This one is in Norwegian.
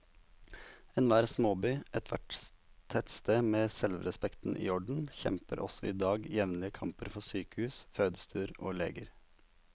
Enhver småby, ethvert tettsted med selvrespekten i orden, kjemper også i dag jevnlige kamper for sykehus, fødestuer og leger.